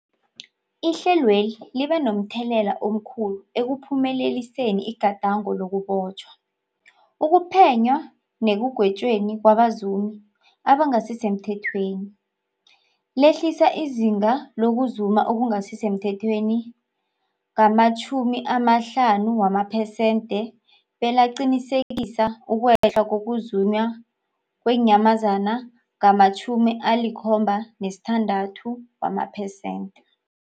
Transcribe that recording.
Ihlelweli libe momthelela omkhulu ekuphumeleliseni igadango lokubotjhwa, ukuphenywa nekugwetjweni kwabazumi abangasisemthethweni, lehlisa izinga lokuzuma okungasi semthethweni ngama-50 wamaphesenthe, belaqinisekisa ukwehla kokuzunywa kweenyamazana ngama-76wamaphesenthe.